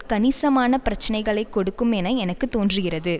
கணிசமான பிரச்சினைகளை கொடுக்கும் என எனக்கு தோன்றுகிறது